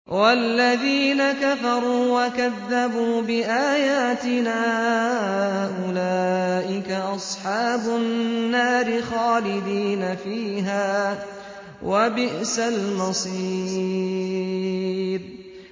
وَالَّذِينَ كَفَرُوا وَكَذَّبُوا بِآيَاتِنَا أُولَٰئِكَ أَصْحَابُ النَّارِ خَالِدِينَ فِيهَا ۖ وَبِئْسَ الْمَصِيرُ